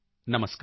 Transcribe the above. ਨਮਸਕਾਰ